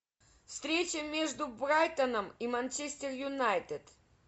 встреча между брайтоном и манчестер юнайтед